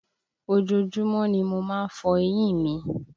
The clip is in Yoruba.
Ojoojúmọ́ ni mo má ń fọ eyín mi